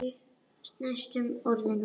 Næstum orðinn úti